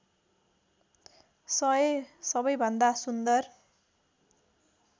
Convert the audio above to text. १०० सबैभन्दा सुन्दर